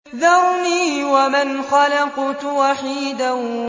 ذَرْنِي وَمَنْ خَلَقْتُ وَحِيدًا